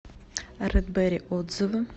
рэд бэрри отзывы